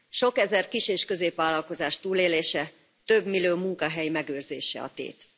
Sok ezer kis és középvállalkozás túlélése, több millió munkahely megőrzése a tét.